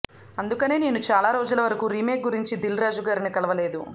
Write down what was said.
అందుకనే నేను చాలా రోజుల వరకు రీమేక్ గురించి దిల్రాజు గారిని కలవలేదు